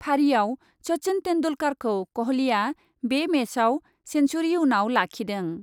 फारिआव सचिन तेन्दुलकारखौ कहलीआ बे मेचआव सेन्सुरि उनाव लाखिदों ।